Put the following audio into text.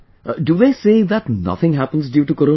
Do they say that nothing happens due to Corona